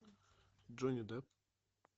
джонни депп